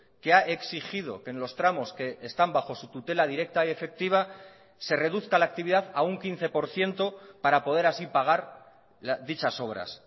que ha exigido que en los tramos que están bajo su tutela directa y efectiva se reduzca la actividad a un quince por ciento para poder así pagar dichas obras